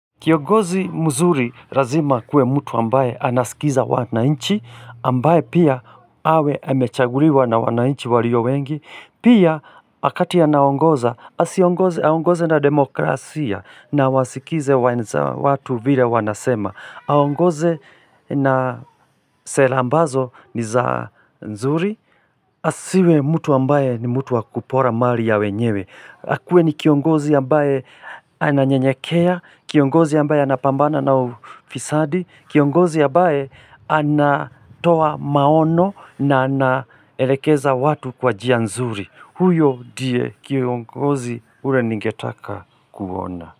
Kiongozi mzuri razima akuwe mtu ambaye anasikiza wananchi, ambaye pia awe amechaguliwa na wananchi walio wengi, pia wakati anaongoza, asi aongoze na demokrasia na wasikize watu vile wanasema. Aongoze na sera ambazo ni za nzuri, asiwe mtu ambaye ni mtu wa kupora mari ya wenyewe. Akuwe ni kiongozi ambaye ananyenyakea, kiongozi ambaye anapambana na ufisadi, kiongozi ambaye anatoa maono na anaelekeza watu kwa njia nzuri. Huyo ndiye kiongozi ule ningetaka kuona.